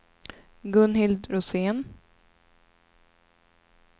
Gunhild Rosén